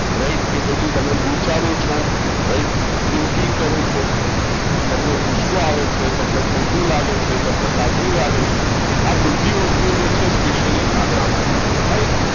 right કે પછી તમે વિચારો છો લાઇટ thinking કરો છો તમે ગુસ્સો આવે છે તમને ખોટું લાગે છે તમને સાચો લાગે છે આ બધી વસ્તુઓ જે છે એ specially અને આભારી છે right